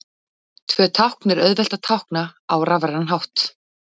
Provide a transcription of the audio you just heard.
Tvö tákn er auðvelt að tákna á rafrænan hátt.